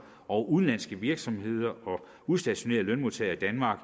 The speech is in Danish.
over udenlandske virksomheder og udstationerede lønmodtagere i danmark